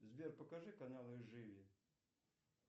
сбер покажи каналы живи